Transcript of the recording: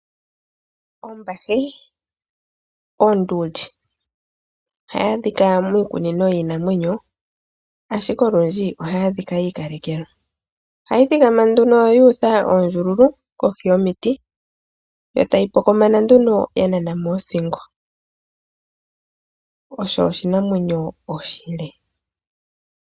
Ombahe. Onduli ohayi adhika miikunino yiinamwenyo, ashike olundji ohayi adhika yi ikalekelwa. Ohayi thikama nduno yuutha oondjululu kohi yomiti, etayi pokomana nduno ya nana mo othingo. Osho oshinamwenyo oshile.